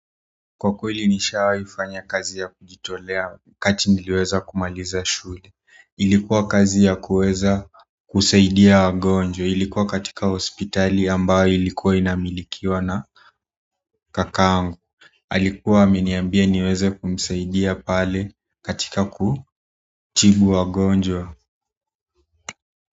Kwa kweli nishawai fanya kazi ya kujitolea wakati niliweza kumaliza shule ilikuwa kazi ya kuweza kusaidia wagonjwa ilikuwa katika hospitali ambayo ilikuwa inamilikiwa na kakaangu alikuwa ameniambia niweze kumsaidia pale katika kutibu wagonjwa.